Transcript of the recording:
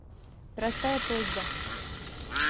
простая просьба